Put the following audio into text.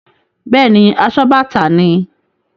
Bẹ́ẹ̀ni, asobàtà ni.